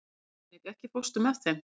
Dominik, ekki fórstu með þeim?